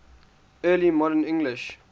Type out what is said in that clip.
early modern english